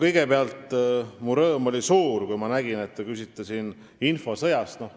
Kõigepealt, mu rõõm oli suur, kui ma nägin, et te küsite infosõja kohta.